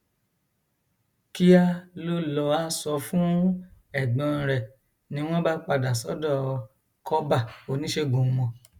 kíá ló lọá sọ fún ẹgbọn rẹ ni wọn bá padà sọdọ kọbà oníṣègùn wọn